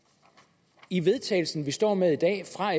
i vedtagelse som vi står med i dag fra